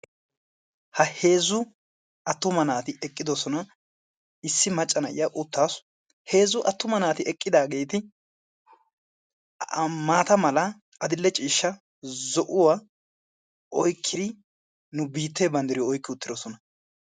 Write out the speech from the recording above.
Ha heezzu attuma naati eqqidoosona. issi macca na'iya uttasu. heezzu attuma naati eqidaageeti maata mala, adill'e ciishsha, zo'uwaa oykkidi nu biitte banddiriyo oyqqi uttidoosona.